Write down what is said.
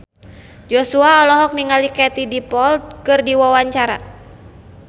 Joshua olohok ningali Katie Dippold keur diwawancara